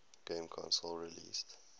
game console released